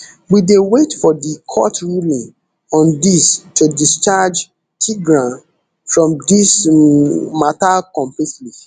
we dey wait for di court ruling on dis to discharge tigran from dis um mata completely